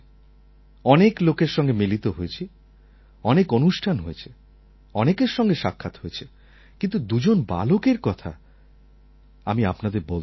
অনেক লোকের সঙ্গে মিলিত হয়েছি অনেক অনুষ্ঠান হয়েছে অনেকের সঙ্গে সাক্ষাৎ হয়েছে কিন্তু দুজন বালকএর কথা আমি আপনাদের বলতে চাই